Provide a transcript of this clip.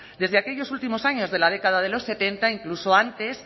desde aquellos últimos años de la década de los setenta incluso antes